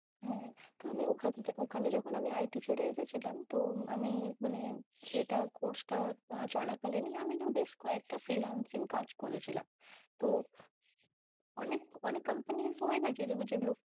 হম তো আমি ওখানে যখন IT ছেড়ে এসেছিলাম তো আমি মানে ইএ টা course টা চলাকালীন ই আমি না বেশ কয়েকটা freelancing কাজ করেছিলাম তো অনেক, অনেক companies হয়না যেগুলো